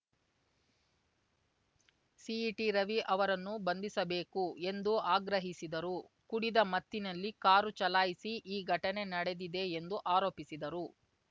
ಸಿಟಿರವಿ ಅವರನ್ನು ಬಂಧಿಸಬೇಕು ಎಂದು ಆಗ್ರಹಿಸಿದರು ಕುಡಿದ ಮತ್ತಿನಲ್ಲಿ ಕಾರು ಚಲಾಯಿಸಿ ಈ ಘಟನೆ ನಡೆದಿದೆ ಎಂದು ಆರೋಪಿಸಿದರು